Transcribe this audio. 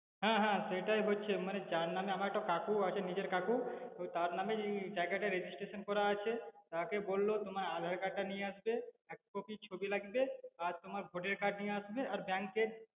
হ্যা হ্যা সেটাই হচ্ছে মানে যার নামে আমার একটা কাকু আছে নিজের কাকু ওই তার নামেই জায়গাটা registration করা আছে, তাকে বলল তোমার aadhaar card তা নিয়ে আসতে এক কপি ছবি লাগবে আর তোমার ভোটের card নিয়ে আসবে আর bank এর